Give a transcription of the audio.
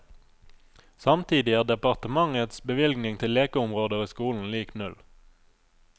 Samtidig er departementets bevilgning til lekeområder i skolen lik null.